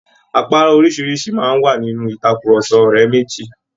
Àpárá oríṣìíríṣìí máa ń wà nínú ìtàkurọ̀sọ ọ̀rẹ́ méjì